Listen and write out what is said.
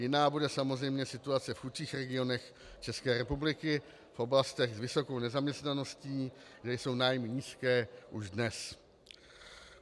Jiná bude samozřejmě situace v chudších regionech České republiky, v oblastech s vysokou nezaměstnaností, kde jsou nájmy nízké už dnes.